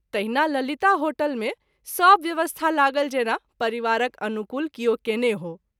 तहिना ललिता होटल मे सभ व्यवस्था लागल जेना परिवारक अनुकूल किओ कएने हो।